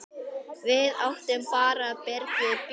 Við áttum bara Birgi Björn.